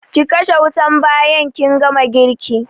Ki kashe wutan bayan kin gama girki